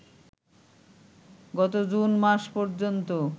গত জুন মাস পর্যন্ত